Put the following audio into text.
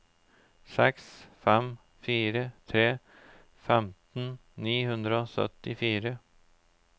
seks fem fire tre femten ni hundre og syttifire